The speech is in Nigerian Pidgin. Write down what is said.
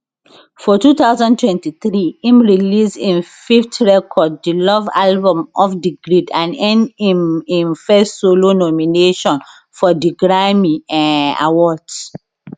for 2023 im release im fifth record di love album off di grid and earn im im first solo nomination for di grammy um awards